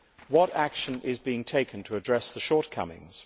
What action is being taken to address the shortcomings?